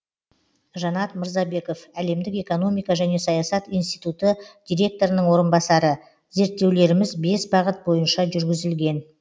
жанат мырзабеков әлемдік экономика және саясат институты директорының орынбасары зерттеулеріміз бес бағыт бойынша жүргізілген